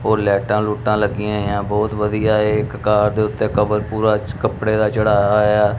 ਉਹ ਲਾਈਟਾਂ ਲੂਟਾਂ ਲੱਗੀਆਂ ਹੋਈਆਂ ਬਹੁਤ ਵਧੀਆ ਏ ਇੱਕ ਕਾਰ ਦੇ ਉੱਤੇ ਕਵਰ ਪੂਰਾ ਕੱਪੜੇ ਦਾ ਚੜਾਇਆ ਹੋਇਐ।